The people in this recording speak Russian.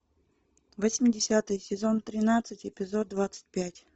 восьмидесятые сезон тринадцать эпизод двадцать пять